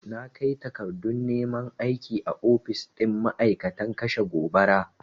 Na kai takardun neman aiki a ofis ɗin ma'aikatan kashe gobara.